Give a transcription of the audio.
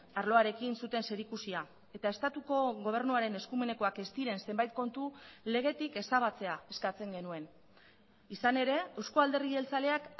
arloarekin zuten zerikusia eta estatuko gobernuaren eskumenekoak ez diren zenbait kontu legetik ezabatzea eskatzen genuen izan ere euzko alderdi jeltzaleak